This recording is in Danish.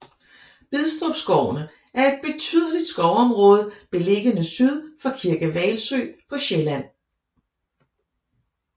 Bidstrup skovene er et betydeligt skovområde beliggende syd for Kirke Hvalsø på Sjælland